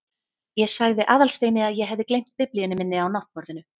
Ég sagði Aðalsteini að ég hefði gleymt biblíunni minni á náttborðinu.